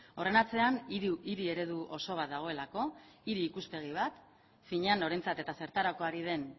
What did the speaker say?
horren atzean hiri eredu oso bat dagoelako hiri ikuspegi bat finean norentzat eta zertarako ari den